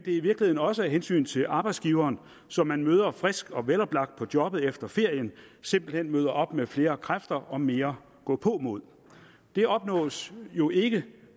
i virkeligheden også af hensyn til arbejdsgiveren så man møder frisk og veloplagt på jobbet efter ferien man simpelt hen op med flere kræfter og mere gåpåmod det opnås jo ikke